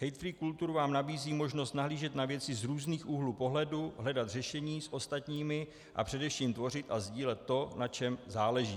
HateFree Culture vám nabízí možnost nahlížet na věci z různých úhlů pohledu, hledat řešení s ostatními a především tvořit a sdílet to, na čem záleží.